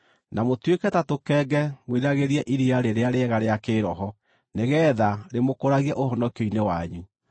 Na mũtuĩke ta tũkenge mwĩriragĩrie iria rĩrĩa rĩega rĩa kĩĩroho, nĩgeetha rĩmũkũragie ũhonokio-inĩ wanyu,